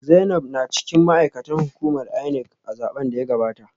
Zainab na cikin ma’aikatan hukumar INEC a zaben da ya gabata